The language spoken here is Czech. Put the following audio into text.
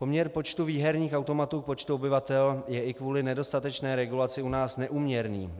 Poměr počtu výherních automatů k počtu obyvatel je i kvůli nedostatečné regulaci u nás neúměrný.